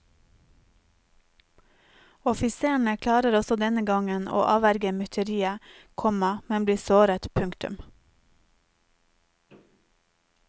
Offiserene klarer også denne gangen å avverge myteriet, komma men blir såret. punktum